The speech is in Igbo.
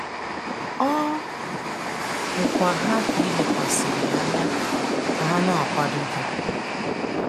Ọ bụkwa ha ka i lekwasịrị anya ka ha na - akwado gị.